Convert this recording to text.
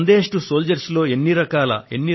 Sandesh to soldiers hashtag కు ఎన్ని రకాల